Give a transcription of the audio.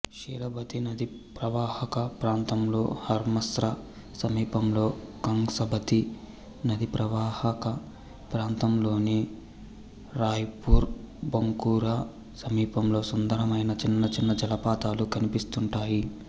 షిలబతీ నదీప్రవాహక ప్రాంతంలో హర్మస్రా సమీపంలో కంగ్సబతి నదీప్రహక ప్రాంతంలోని రాయ్పూర్ బంకురా సమీపంలో సుందరమైన చిన్నచిన్న జలపాతాలు కనిపిస్తుంటాయి